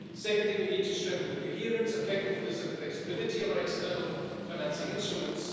Secondly, we need to strengthen the coherence, effectiveness and the flexibility of our external financing instruments.